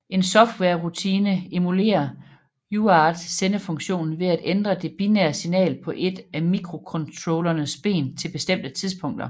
En softwarerutine emulerer UART sendefunktionen ved at ændre det binære signal på et af mikrocontrollerens ben til bestemte tidspunkter